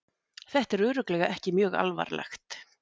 Þetta er örugglega ekki mjög alvarlegt.